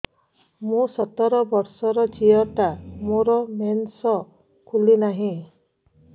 ମୁ ସତର ବର୍ଷର ଝିଅ ଟା ମୋର ମେନ୍ସେସ ଖୁଲି ନାହିଁ